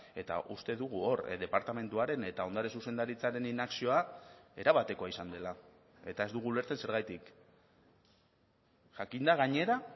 eta uste dugu hor departamentuaren eta ondare zuzendaritzaren inakzioa erabatekoa izan dela eta ez dugu ulertzen zergatik jakinda gainera